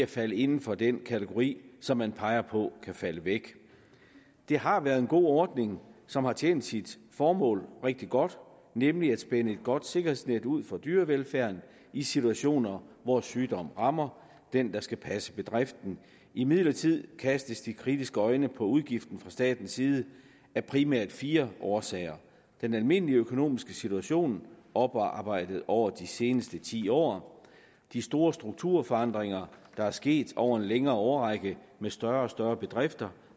falder inden for den kategori som man peger på kan falde væk det har været en god ordning som har tjent sit formål rigtig godt nemlig at spænde et godt sikkerhedsnet ud for dyrevelfærden i situationer hvor sygdom rammer den der skal passe bedriften imidlertid kastes de kritiske øjne på udgiften fra statens side af primært fire årsager den almindelige økonomiske situation oparbejdet over de seneste ti år de store strukturforandringer der er sket over en længere årrække med større og større bedrifter